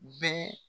Bɛɛ